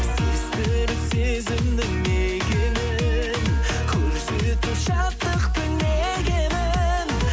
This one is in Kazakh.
сездіріп сезімнің мекенін көрсетіп шаттықтың не екенін